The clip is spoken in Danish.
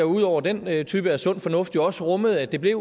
ud over den type af sund fornuft jo også rummede at det blev